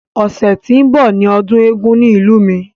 Ọ̀sẹ̀ tí ó ń bọ̀ ni ọdún eégún ní ìlú mi.